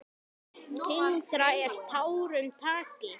Þyngra en tárum taki!